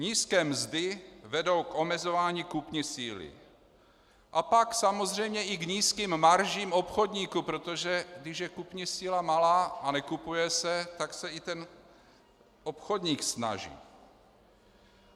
Nízké mzdy vedou k omezování kupní síly a pak samozřejmě i k nízkým maržím obchodníků, protože když je kupní síla malá a nekupuje se, tak se i ten obchodník snaží.